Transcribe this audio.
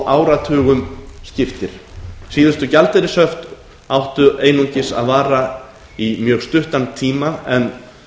áratugum skiptir síðustu gjaldeyrishöft áttu einungis að vara í mjög stuttan tíma en